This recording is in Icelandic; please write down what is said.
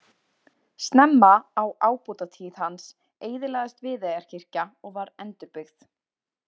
Snemma á ábótatíð hans eyðilagðist Viðeyjarkirkja og var endurbyggð.